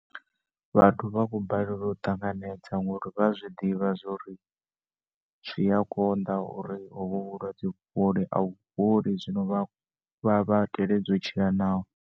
Vhathu vhakho balelwa u ṱanganedza ngauri vhaya zwiḓivha zwori zwiya konda uri hovhu vhulwadze vhufhole avhu fholi zwino vhanwe vha vhaya teledza utshila naho.